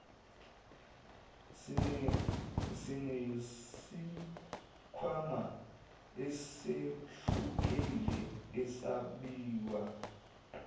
sinesikhwama esehlukile esabiwe